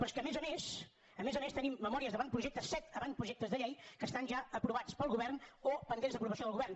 però és que a més a més a més a més tenim memòries d’avantprojectes set avantprojectes de llei que estan ja aprovats pel govern o pendents d’aprovació del govern